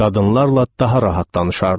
Qadınlarla daha rahat danışardı.